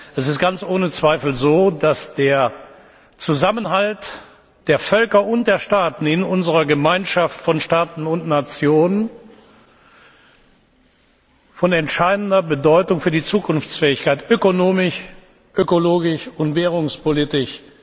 Es ist ganz ohne Zweifel so, dass der Zusammenhalt der Völker und der Staaten in unserer Gemeinschaft von Staaten und Nationen von entscheidender Bedeutung für die Zukunftsfähigkeit ökonomisch, ökologisch und währungspolitisch